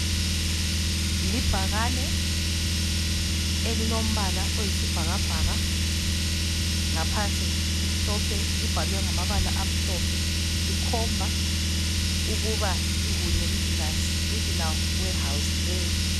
Libhakane elilombala oyisi bhakabhaka ngaphansi limhlophe, libhalwe ngamabala amhlophe likhomba ukuba yi Huye regional warehouse leyo.